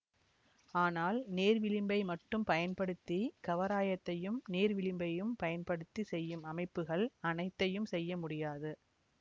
ஆனால் நேர்விளிம்பை மட்டும் பயன்படுத்தி கவராயத்தையும் நேர்விளிம்பையும் பயன்படுத்தி செய்யும் அமைப்புகள் அனைத்தையும் செய்ய முடியாது